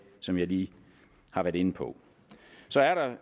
som jeg lige har været inde på så er der